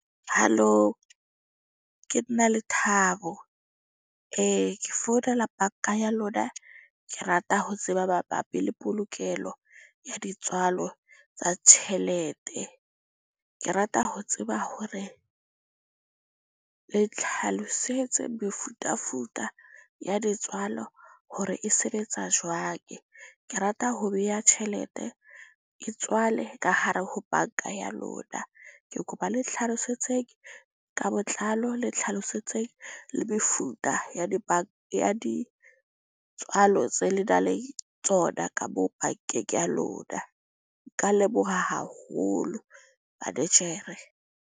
Halo, ke nna Lethabo ke founela banka ya lona. Ke rata ho tseba mabapi le polokelo ya ditswalo tsa tjhelete. Ke rata ho tseba hore le tlhalosetse mefutafuta ya ditswalo hore e sebetsa jwang. Ke rata ho beha tjhelete e tswale ka hare ho banka ya lona. Ke kopa le nhlalosetseng ka botlalo le nhlalosetseng le mefuta ya di ya ditswalo tse le nang le tsona, ka mo bankeng ya lona. Ka leboha haholo manejere.